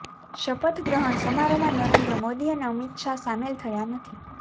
શપથ ગ્રહણ સમારોહમાં નરેન્દ્ર મોદી અને અમિત શાહ સામેલ થયા નથી